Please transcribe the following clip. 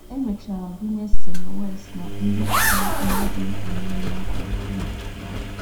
E mechara gụnye Semmelweis ná ndị kwuru ihe dị mkpa na - enye aka igbochi ọrịa.